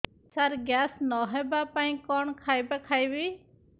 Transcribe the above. ସାର gas ନ ହେବା ପାଇଁ କଣ ଖାଇବା ଖାଇବି